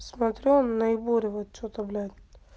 смотрю наиболее вот что-то блять